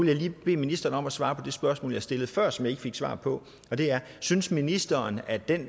jeg lige bede ministeren om at svare på det spørgsmål jeg stillede før og som jeg ikke fik svar på synes ministeren at den